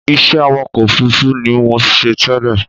Iṣẹ́ awakọ̀ òfurufú ni mò ń ṣe tẹ́lẹ̀